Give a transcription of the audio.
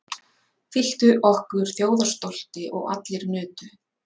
Fylltu okkur þjóðarstolti og allir nutu.